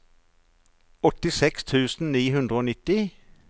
åttiseks tusen ni hundre og nitti